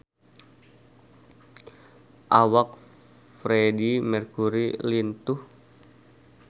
Awak Freedie Mercury lintuh